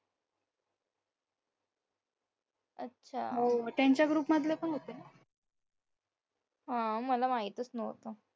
अच्छा मला माहीतच नव्हतं